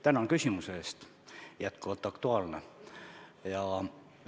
Tänan küsimuse eest, jätkuvalt aktuaalne!